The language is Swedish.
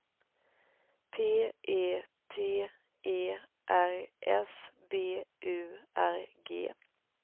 P E T E R S B U R G